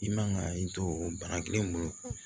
I man ka i to o bana kelen bolo